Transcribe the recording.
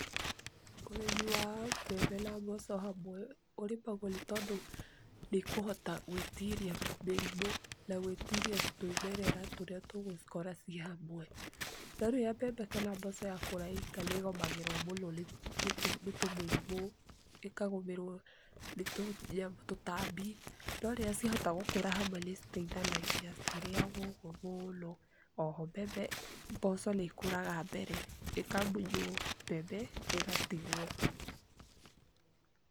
Ũrĩmi wa mbembe na mboco hamwe ũrĩmagwa nĩ tondũ nĩkũhota gwĩtiria mĩrimũ na gwĩtiria tũĩmerera tũrĩa tũgũcikora cĩhamwe .Norĩrĩa mbembe na mboco yakũra ĩ hamwe nĩgomagĩrwo mũno nĩ tũmĩrimo, ĩkagũmĩrwo nĩ tutambi no rĩrĩa ciahota gũkũra hamwe nĩ citĩithanagia, citĩrĩagwo ũguo mũno oho mboco nĩkũraga mbere ĩkamunywo mbembe ĩgatigwo .